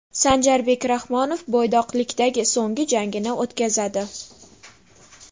Sanjarbek Rahmonov bo‘ydoqlikdagi so‘nggi jangini o‘tkazadi.